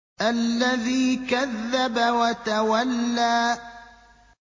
الَّذِي كَذَّبَ وَتَوَلَّىٰ